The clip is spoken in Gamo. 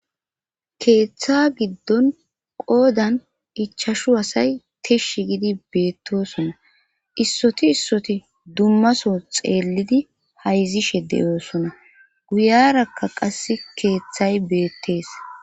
keeththa giddon qoodan ichashu hasay tishshi gidi beettoosona issoti issoti dummaso xeellidi hayzishe de7oosona guyarakka qass keeththay beettees